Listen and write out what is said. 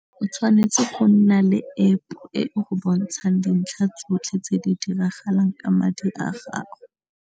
O tshwanetse go nna le App e go bontshang dintlha tsotlhe tse di diragalang ka madi a gago.